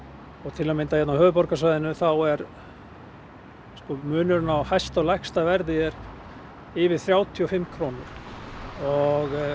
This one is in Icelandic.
til að mynda hér á höfuðborgarsvæðinu þá er munurinn á hæsta og lægsta verði yfir þrjátíu og fimm krónur og